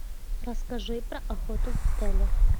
расскажи про охоту в отеле